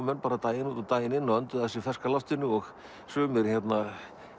menn daginn út og daginn inn og önduðu að sér ferska loftinu og sumir hérna